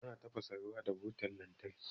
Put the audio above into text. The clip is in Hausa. Ana tafasa ruwa da butan lantarki.